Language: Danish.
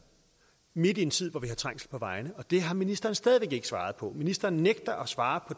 midt i en tid hvor vi har trængsel på vejene og det har ministeren stadig væk ikke svaret på ministeren nægter at svare